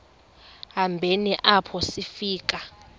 hambeni apho sifika